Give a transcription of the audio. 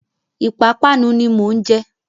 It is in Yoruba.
Ìpapánu ni mò ń jẹ.